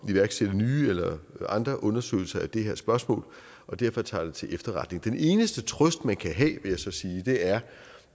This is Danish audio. iværksætte nye eller andre undersøgelser af det her spørgsmål og derfor tager jeg det til efterretning den eneste trøst man kan have vil jeg så sige er